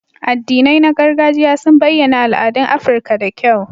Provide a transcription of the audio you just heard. Addinai na gargajiya sun bayyana al'adun Afirka da kyau.